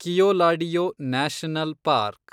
Keoladeo national park